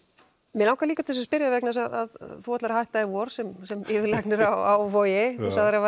mig langar líka til að spyrja þig vegna þess að þú ætlar að hætta í vor sem sem yfirlæknir á Vogi þú sagðir að